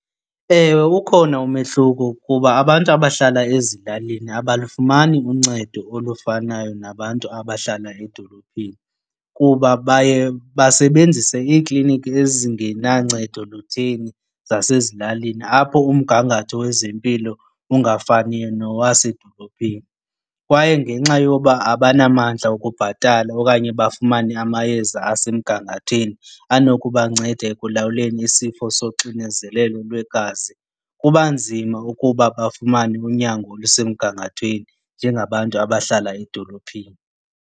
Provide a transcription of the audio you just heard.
Ewe, ukhona umehluko kuba abantu abahlala ezilalini abalufumani uncedo olufanayo nabantu abahlala edolophini kuba baye basebenzise iikliniki ezingenancedo lutheni zasezilalini apho umgangatho wezempilo ungafaniyo nowasedolophini. Kwaye ngenxa yoba abanamandla wokubhatala okanye bafumane amayeza asemgangathweni anokubanceda ekulawuleni isifo soxinezelelo lwegazi, kuba nzima ukuba bafumane unyango olusemgangathweni njengabantu abahlala edolophini.